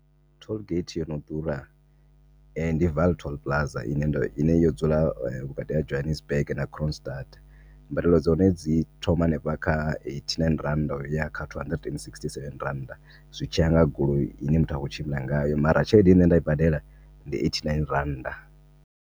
Tollgate yono ḓura ndi vaal toll plaza ine ndo ine yo dzula vhukati ha Johannesburg na Kroonstad. Mbadelo dza hone dzi thoma hanefha kha eighty-nine rannda uya kha two hundred sixty-seven rannda zwitshiya nga goloi ine muthu akho tshimbila ngayo, mara tshelede ine nṋe ndai badela ndi eighty-nine rannda.